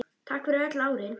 Takk fyrir öll árin.